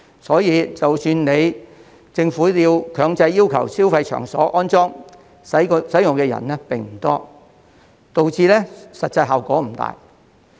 所以，即使政府強制要求消費場所安裝，使用的人並不多，導致實際效果不大。